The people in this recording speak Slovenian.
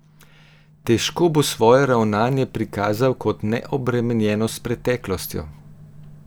Težko bo svoje ravnanje prikazal kot neobremenjeno s preteklostjo?